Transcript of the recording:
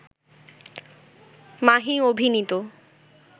মাহি অভিনীত